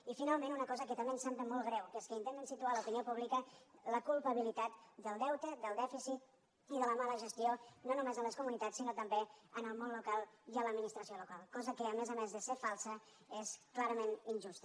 i finalment una cosa que també ens sembla molt greu que és que intenten situar a l’opinió la culpabilitat del deute del dèficit i de la mala gestió no només en les comunitats sinó també en el món local i en l’administració local cosa que a més a més de ser falsa és clarament injusta